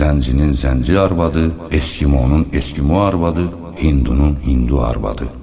Zəncinin zənci arvadı, Eskimonun eskimo arvadı, Hindunun hindu arvadı.